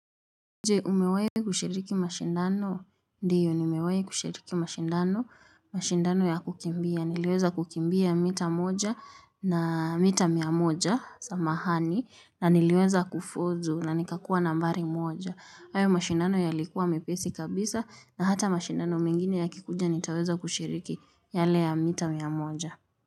Je umewahi kushiriki mashindano, ndiyo nimewahi kushiriki mashindano, mashindano ya kukimbia, niliweza kukimbia mita moja na mita mia moja, samahani, na niliweza kufuzu na nikakuwa nambari moja. Hayo mashindano yalikuwa mepesi kabisa na hata mashindano mengine yakikuja nitaweza kushiriki yale ya mita mia moja.